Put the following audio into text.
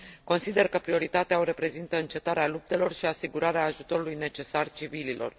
Consider că prioritatea o reprezintă încetarea luptelor și asigurarea ajutorului necesar civililor.